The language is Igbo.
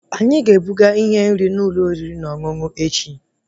Anyị ga-ebuga ihe nri n'ụlọ oriri na ọṅụṅụ echi